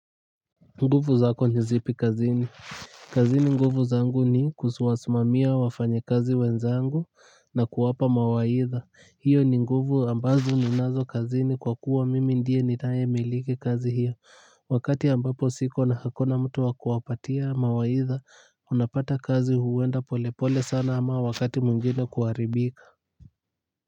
Nguvu zako ni zipi kazini. Kazini nguvu zangu ni kusuwasmamia wafanyakazi wenzangu na kuwapa mawaidha hiyo ni nguvu ambazo ninazo kazini kwa kuwa mimi ndiye nitayemiliki kazi hiyo wakati ambapo siko na hakuna mtu wa kuwapatia mawaidha unapata kazi huenda polepole sana ama wakati mwengine kuaribika.